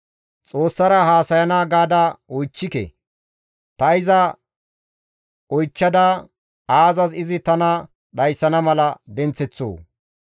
Xoossara haasayana gaada oychchike; ta iza oychchada aazas izi tana dhayssana mala denththeththoo?